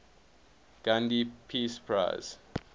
gandhi peace prize